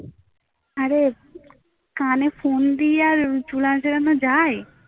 আরে কানে ফোন দিয়ে আর চুল আঁচড়ানো যায়